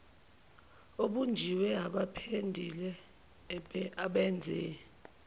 obunjiwe abapendile abenze